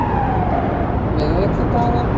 miðvikudaga